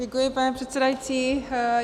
Děkuji, pane předsedající.